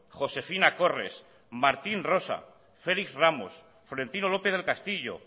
josefina corresa martín rosa félix ramos florentino lópez del castillo